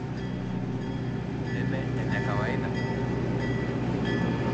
Neme enekawaida?